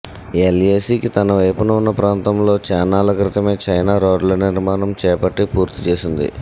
ఎల్ఏసీకి తనవైపున్న ప్రాంతంలో చాన్నాళ్లక్రితమే చైనా రోడ్ల నిర్మాణం చేపట్టి పూర్తి చేసింది